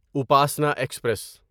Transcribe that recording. Upasana express